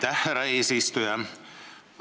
Aitäh, härra eesistuja!